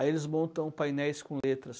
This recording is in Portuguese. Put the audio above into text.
Aí eles montam painéis com letras.